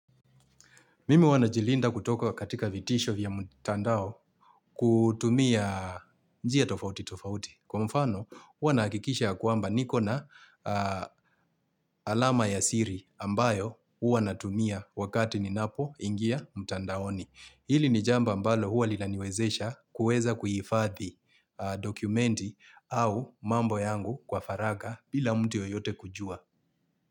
Mimi huwa najilinda kutoka katika vitisho vya mutandao kutumia njia tofauti tofauti. Kwa mfano, huwa naakikisha ya kwamba niko na alama ya siri ambayo huwa natumia wakati ninapoingia mtandaoni. Hili ni jambo ambalo huwa lilaniwezesha kuweza kuhifadhi dokumenti au mambo yangu kwa faraga bila mtu yoyote kujua.